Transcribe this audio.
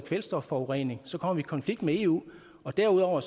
kvælstofforurening så kommer i konflikt med eu derudover